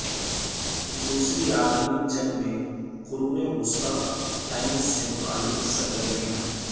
دوسری عالمی جنگ میں قرون وسطی ٹائمز سے متعلق سرگرمیاں